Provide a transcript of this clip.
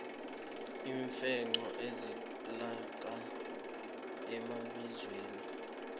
iimfenqho zitholakala emabizweni